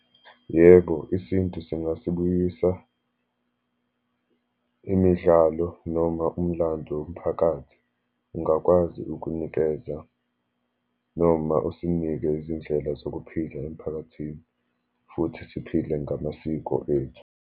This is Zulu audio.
Yebo, isintu singasibuyisa imidlalo, noma umlando womphakathi, ungakwazi ukunikeza, noma usinike izindlela zokuphila emiphakathini, futhi siphile ngamasiko ethu.